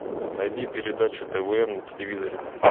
найди передачу твм на телевизоре